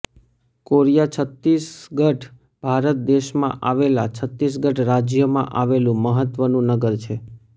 Korea Chhattisgarh Bharat દેશમાં આવેલા છત્તીસગઢ રાજ્યમાં આવેલું મહત્વનું નગર છે